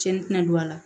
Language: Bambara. Cɛnni tɛna don a la